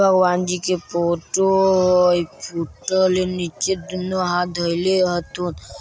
भगवान जी के फोटो हय नीचे दुनु हाथ धैले हय --